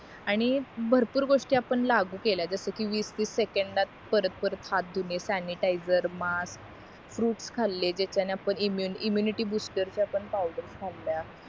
आणि भरपूर गोष्टी आपण लागू केल्या जस कि वीस तीस सेकांदात परत परत हात धुणे स्यानीटायझर मास्क फ्रुट्स खाले जे त्याने आपण इम्यु इम्युनिटी बुस्टर चा आपण पावडर खाल्या